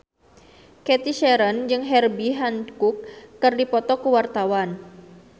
Cathy Sharon jeung Herbie Hancock keur dipoto ku wartawan